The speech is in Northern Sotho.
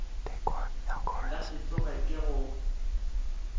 nka se tsoge ke go